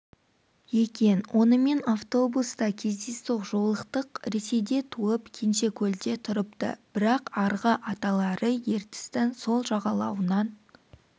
екен онымен автобуста кездейсоқ жолықтық ресейде туып кенжекөлде тұрыпты бірақ арғы аталары ертістің сол жағалауынан